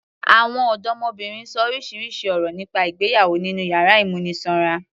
Àwọn ọdọmọbìnrin ṣọ orísirísi ọ̀rọ̀ nípa ìgbéyàwó nínú yàrá ìmúnisanra.